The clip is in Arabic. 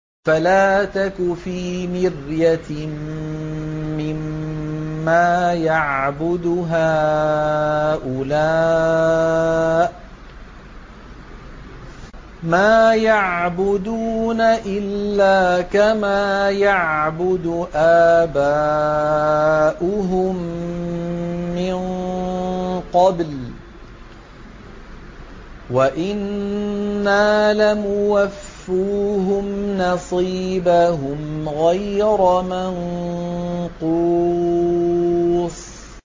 فَلَا تَكُ فِي مِرْيَةٍ مِّمَّا يَعْبُدُ هَٰؤُلَاءِ ۚ مَا يَعْبُدُونَ إِلَّا كَمَا يَعْبُدُ آبَاؤُهُم مِّن قَبْلُ ۚ وَإِنَّا لَمُوَفُّوهُمْ نَصِيبَهُمْ غَيْرَ مَنقُوصٍ